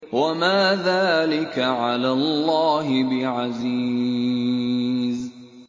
وَمَا ذَٰلِكَ عَلَى اللَّهِ بِعَزِيزٍ